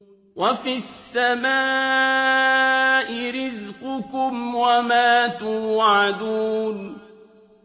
وَفِي السَّمَاءِ رِزْقُكُمْ وَمَا تُوعَدُونَ